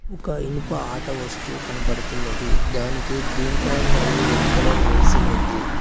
ఒక ఇనుప ఆట వస్తూ కనబడుతున్నది దానికి గ్రీన్ కలర్ మరియు రెడ్ కలర్ వేసి ఉంది.